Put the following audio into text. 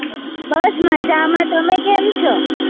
બસ મજામાં તમે કેમ છો?